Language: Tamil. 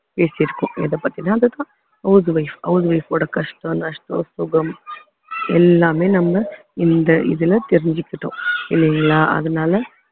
பேசியிருக்கோம் எதைப்பத்தியும் அதுதான் house wifehouse wife ஓட கஷ்டம் நஷ்டம் சுகம் எல்லாமே நம்ம இந்த இதுல தெரிஞ்சுக்கிட்டோம் இல்லைங்களா அதனால